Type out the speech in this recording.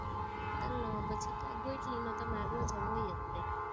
તલનો પછી કાઈ નઈ, ગોટલીનો તો અમારે રોજ હોય જ તે